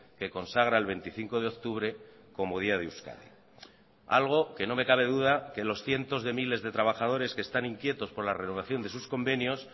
que consagra el veinticinco de octubre como día de euskadi algo que no me cabe duda que los cientos de miles de trabajadores que están inquietos por la renovación de sus convenios